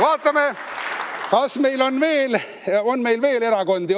Vaatame, kas meil on veel erakondi.